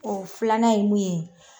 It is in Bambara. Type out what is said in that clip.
O filanan ye mun ye